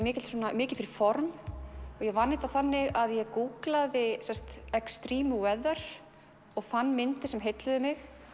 mikið mikið fyrir form og ég vann þetta þannig að ég gúglaði extreme weather og fann myndir sem heilluðu mig